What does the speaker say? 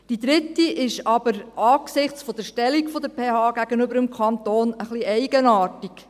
Die dritte ist aber angesichts der Stellung der PH gegenüber dem Kanton etwas eigenartig.